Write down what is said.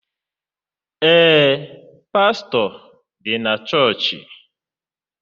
Ee, pastọ dị na chọọchị.